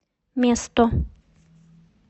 место